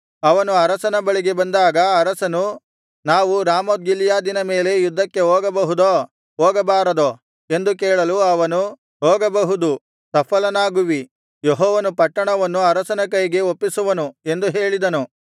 ಅವನು ಅರಸನ ಬಳಿಗೆ ಬಂದಾಗ ಅರಸನು ನಾವು ರಾಮೋತ್ ಗಿಲ್ಯಾದಿನ ಮೇಲೆ ಯುದ್ಧಕ್ಕಾಗಿ ಹೋಗಬಹುದೋ ಹೋಗಬಾರದೋ ಎಂದು ಕೇಳಲು ಅವನು ಹೋಗಬಹುದು ಸಫಲನಾಗುವಿ ಯೆಹೋವನು ಪಟ್ಟಣವನ್ನು ಅರಸನ ಕೈಗೆ ಒಪ್ಪಿಸುವನು ಎಂದು ಹೇಳಿದನು